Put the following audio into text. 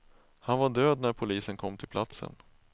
Han var död när polisen kom till platsen.